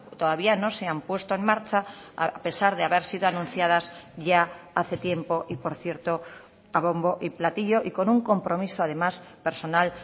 todavía no se han puesto en marcha a pesar de haber sido anunciadas ya hace tiempo y por cierto a bombo y platillo y con un compromiso además personal